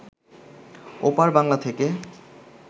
ওপার বাংলা থেকে